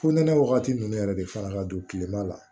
Fo nɛnɛ wagati ninnu yɛrɛ de fana ka don kilema la